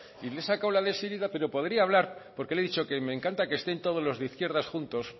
y le he sacado a syriza pero podría hablar porque le he dicho que me encanta que estén todos los de izquierdas juntos